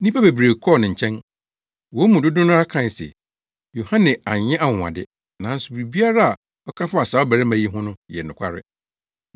Nnipa bebree kɔɔ ne nkyɛn. Wɔn mu dodow no ara kae se, “Yohane anyɛ anwonwade, nanso biribiara a ɔka faa saa ɔbarima yi ho no yɛ nokware.”